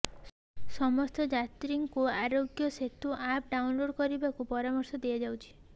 ସମସ୍ତ ଯାତ୍ରୀଙ୍କୁ Aarogya Setu app download କରିବାକୁ ପରାମର୍ଶ ଦିଆଯାଉଛି